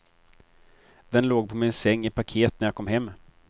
Den låg på min säng i paket när jag kom hem.